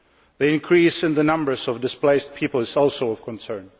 The increase in the numbers of displaced people is also of concern.